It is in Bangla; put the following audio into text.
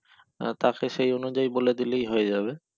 তাকে সেই অনুযায়ী বলে দিলেই হয়ে যাবে